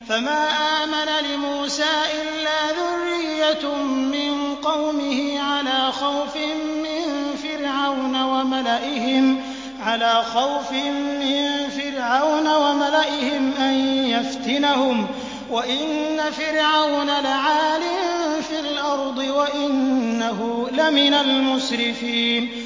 فَمَا آمَنَ لِمُوسَىٰ إِلَّا ذُرِّيَّةٌ مِّن قَوْمِهِ عَلَىٰ خَوْفٍ مِّن فِرْعَوْنَ وَمَلَئِهِمْ أَن يَفْتِنَهُمْ ۚ وَإِنَّ فِرْعَوْنَ لَعَالٍ فِي الْأَرْضِ وَإِنَّهُ لَمِنَ الْمُسْرِفِينَ